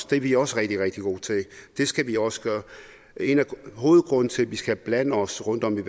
det er vi også rigtig rigtig gode til det skal vi også gøre hovedgrunden til at vi skal blande os rundt om i